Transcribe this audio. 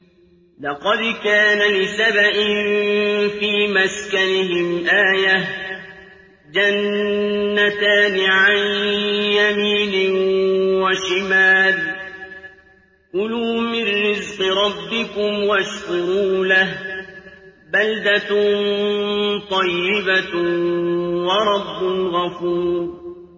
لَقَدْ كَانَ لِسَبَإٍ فِي مَسْكَنِهِمْ آيَةٌ ۖ جَنَّتَانِ عَن يَمِينٍ وَشِمَالٍ ۖ كُلُوا مِن رِّزْقِ رَبِّكُمْ وَاشْكُرُوا لَهُ ۚ بَلْدَةٌ طَيِّبَةٌ وَرَبٌّ غَفُورٌ